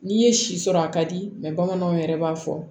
N'i ye si sɔrɔ a ka di bamananw yɛrɛ b'a fɔ